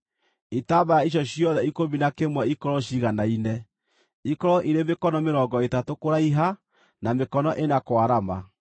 Itambaya icio ciothe ikũmi na kĩmwe ikorwo ciiganaine, ikorwo irĩ mĩkono mĩrongo ĩtatũ kũraiha na mĩkono ĩna kwarama.